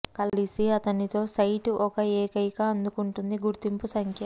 కలిసి అతనితో సైట్ ఒక ఏకైక అందుకుంటుంది గుర్తింపు సంఖ్య